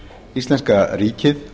íslenska ríkið